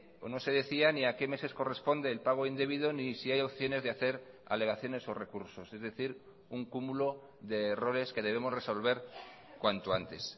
o no se decía ni a qué meses corresponde el pago indebido ni si hay opciones de hacer alegaciones o recursos es decir un cúmulo de errores que debemos resolver cuanto antes